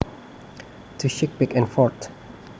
To shake back and forth